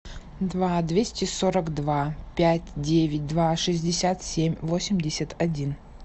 два двести сорок два пять девять два шестьдесят семь восемьдесят один